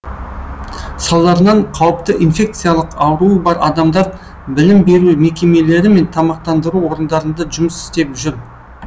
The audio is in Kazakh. салдарынан қауіпті инфекциялық ауруы бар адамдар білім беру мекемелері мен тамақтандыру орындарында жұмыс істеп жүр